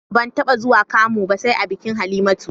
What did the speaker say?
Ban taɓa zuwa kamu ba sai a bikin Halimatu